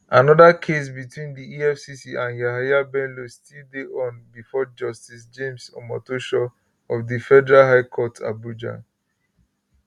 anoda case between di efcc and yahaya bello still dey on bifor justice james omotosho of di federal high court abuja